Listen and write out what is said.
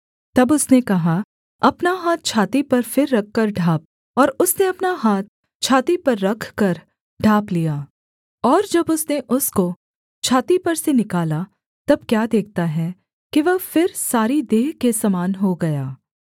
तब उसने कहा अपना हाथ छाती पर फिर रखकर ढाँप और उसने अपना हाथ छाती पर रखकर ढाँप लिया और जब उसने उसको छाती पर से निकाला तब क्या देखता है कि वह फिर सारी देह के समान हो गया